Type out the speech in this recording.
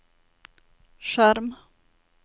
skjerm